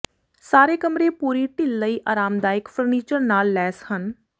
ਸਾਰੇ ਕਮਰੇ ਪੂਰੀ ਢਿੱਲ ਲਈ ਆਰਾਮਦਾਇਕ ਫਰਨੀਚਰ ਨਾਲ ਲੈਸ ਹਨ